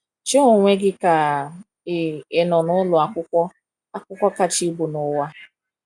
Chee onwe gị ka ị ị nọ n’ụlọ akwụkwọ akwụkwọ kacha ibu n’ụwa.